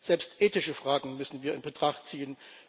Selbst ethische Fragen müssen wir in Betracht ziehen.